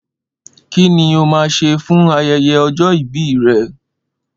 Ki ni o máa sè fún aye̩ye̩ o̩jó̩ ìbí re̩?